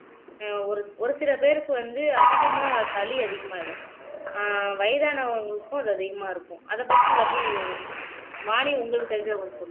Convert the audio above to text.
ஒரு ஒரு சில பேருக்கு வந்து அதிகமா சளி அதிகமாயிடும் ஆஹ் வயதானவங்களுக்கும் அது அதிகமா இருக்கும் அத பத்தி வள்ளி வாணி உங்களுக்கு தெரிஞ்சவங்களுக்கு சொல்லுங்க